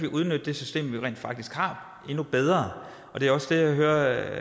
udnytte det system vi rent faktisk har endnu bedre det er også det jeg hører